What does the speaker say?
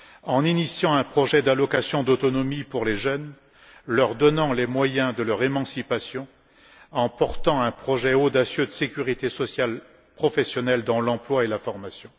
en initiant un projet d'allocation d'autonomie pour les jeunes, leur donnant ainsi les moyens de leur émancipation, et en portant un projet audacieux de sécurité sociale professionnelle dans l'emploi et la formation.